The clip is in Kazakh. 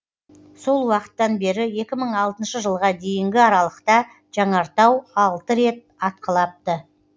сол уақыттан бері екі мың алтыншы жылға дейінгі аралықта жанартау алты рет атқылапты